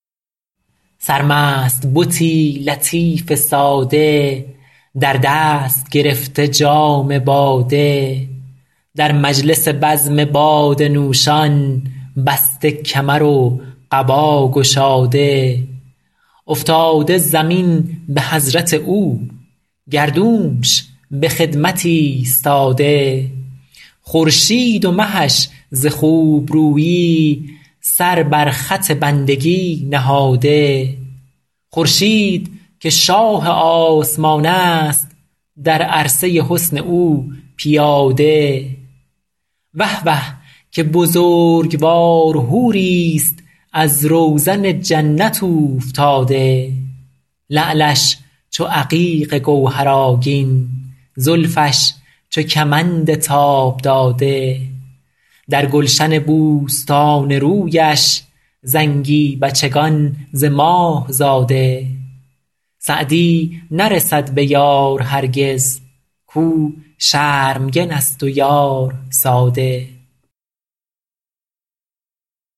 سرمست بتی لطیف ساده در دست گرفته جام باده در مجلس بزم باده نوشان بسته کمر و قبا گشاده افتاده زمین به حضرت او گردونش به خدمت ایستاده خورشید و مهش ز خوبرویی سر بر خط بندگی نهاده خورشید که شاه آسمان است در عرصه حسن او پیاده وه وه که بزرگوار حوریست از روزن جنت اوفتاده لعلش چو عقیق گوهرآگین زلفش چو کمند تاب داده در گلشن بوستان رویش زنگی بچگان ز ماه زاده سعدی نرسد به یار هرگز کاو شرمگن است و یار ساده